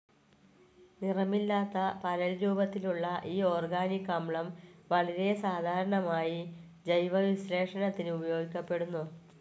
നിറമില്ലാത്ത, പരൽ രൂപത്തിലുള്ള ഈ ഓർഗാനിക്‌ അമ്ലം വളരെ സാധാരണമായി ജൈവവിശ്ലേഷണത്തിന് ഉപയോഗിക്കപ്പെടുന്നു.